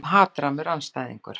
Stundum hatrammur andstæðingur.